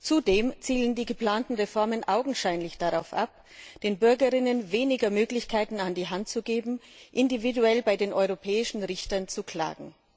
Zudem zielen die geplanten Reformen augenscheinlich darauf ab, den Bürgerinnen und Bürgern weniger Möglichkeiten an die Hand zu geben, individuell bei den europäischen Richtern zu klagen.